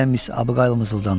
deyə Miss Abuqaylı mızıldandı.